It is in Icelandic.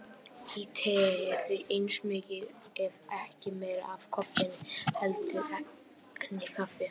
Í tei er því eins mikið ef ekki meira af koffeini heldur en í kaffi.